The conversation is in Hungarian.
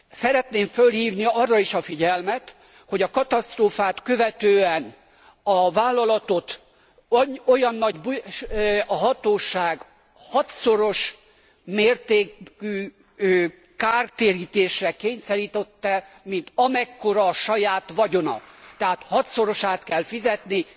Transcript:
Szeretném felhívni arra is a figyelmet, hogy a katasztrófát követően a vállalatot a hatóság hatszoros mértékű kártérítésre kényszerítette, mint amekkora a saját vagyona, tehát hatszorosát kell fizetnie.